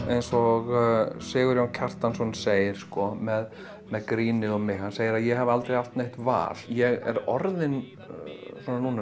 eins og Sigurjón Kjartansson segir með grínið og mig hann segir að ég hafi aldrei haft neitt val ég er orðinn svona núna